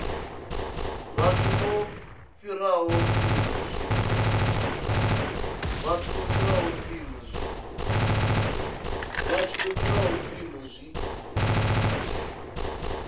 vhathu vho fhiraho mpimo zwi